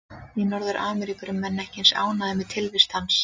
Í Norður-Ameríku eru menn ekki eins ánægðir með tilvist hans.